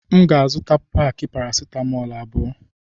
M ga azuta paki paracetamol abụọ.